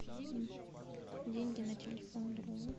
деньги на телефон другу